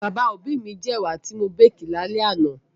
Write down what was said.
Bàbá òbí mi jẹ ẹ̀wà ti wọ́n békì ní alẹ́ àná